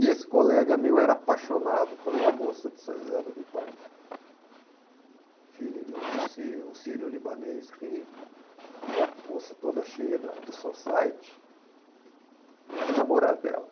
E esse colega meu era apaixonado por uma moça de São José do Rio Pardo, filha de um sírio um sírio libanês rico, moça toda cheia da do society, e era namorado dela.